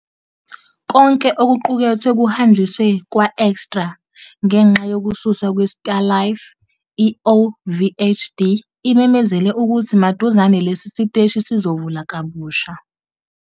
Konke okuqukethwe kuhanjiswe kwa- eExtra. Ngenxa yokususwa kweStar Life, i-OVHD imemezele ukuthi maduzane lesi siteshi sizovula kabusha.